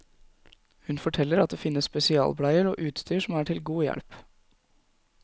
Hun forteller at det finnes spesialbleier og utstyr som er til god hjelp.